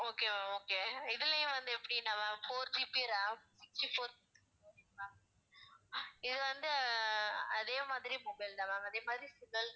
okay ma'am okay இதுலயும் வந்து எப்படின்னா ma'am four GB ram sixty-four இது வந்து அஹ் அதே மாதிரி mobile தான் ma'am அதே மாதிரி